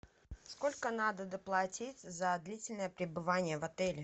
сколько надо доплатить за длительное пребывание в отеле